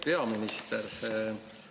Peaminister!